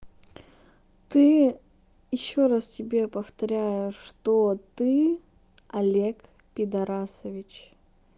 ты ещё раз тебе повторяю что ты олег пидорасович